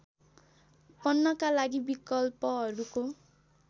बन्नका लागि विकल्पहरूको